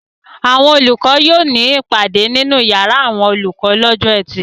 Àwọn olùkọ́ yóò ní ìpàdé nínú ìyàrá àwọn olùkọ́ lọ́jọ́ ẹtì.